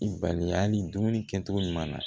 I bali hali dumuni kɛcogo ɲuman na